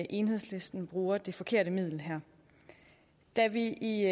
enhedslisten bruger det forkerte middel her da vi i